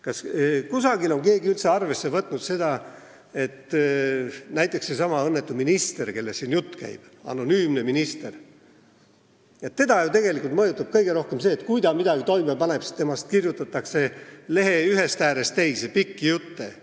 Kas kusagil on keegi üldse arvesse võtnud seda, et näiteks sedasama õnnetut anonüümset ministrit, kellest siin jutt käib, tegelikult mõjutab kõige rohkem ju see, et kui ta midagi toime paneb, siis temast kirjutatakse lehe ühest äärest teise pikki jutte.